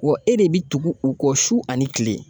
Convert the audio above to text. Wa e de bɛ tugu u kɔ su ani kile.